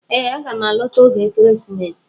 Ee aga m alọta oge ekeresimesi